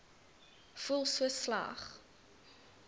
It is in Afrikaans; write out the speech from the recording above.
voel so sleg